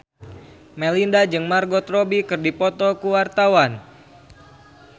Melinda jeung Margot Robbie keur dipoto ku wartawan